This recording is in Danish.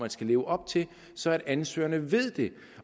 skal leve op til så ansøgerne ved det